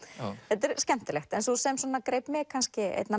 þetta er skemmtilegt sú sem greip mig kannski einna